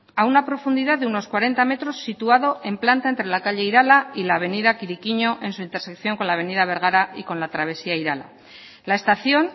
a una profundidad de unos cuarenta metros situado en planta entre la calle irala y la avenida kirikiño en su intersección con la avenida bergara y con la travesía irala la estación